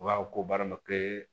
U b'a fɔ ko baarakɛ